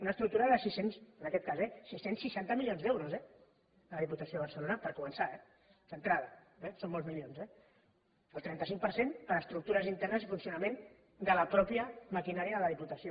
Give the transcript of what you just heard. una estructura en aquest cas eh de sis cents i seixanta milions d’euros la diputació de barcelona per començar d’entrada són molts milions eh el trenta cinc per cent per a estructures internes i funcionament de la mateixa maquinària de la diputació